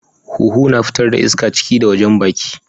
Huhu na fitar da iska a ciki da wajen baki.